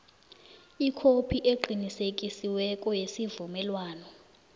ikhophi eqinisekisiweko yesivumelwano